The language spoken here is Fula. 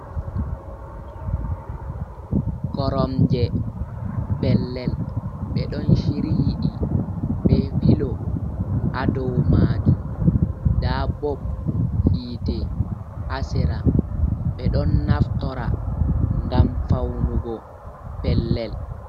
Koromje pellel ɓe ɗon chiryi ɗi be pilo ha dou majum, nda bob hitte ha sera, ɓe ɗon naftora ngam faunugo pellel.